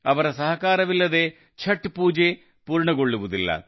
ಅವರ ಸಹಕಾರವಿಲ್ಲದೇ ಛಠ್ ಪೂಜೆ ಪೂರ್ಣಗೊಳ್ಳುವುದಿಲ್ಲ